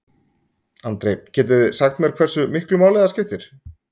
Andri: Getið þið sagt mér hversu miklu máli það skiptir?